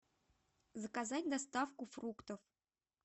заказать доставку фруктов